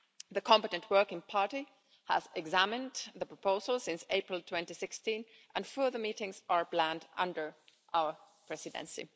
The competent working party has examined the proposal since April 2016 and further meetings are planned under our Presidency.